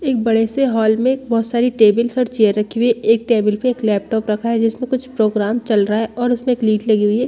एक बड़े से हॉल में बहुत सारे टेबल और चेयर रखी हुई है एक टेबल पे एक लैपटॉप रखा है जिसपे कुछ प्रोग्राम चल रहा है और उसपे प्लेट लगी हुई है।